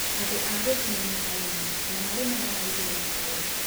Andũ a Githii nĩ arĩmi, na marĩmaga marigu na cai.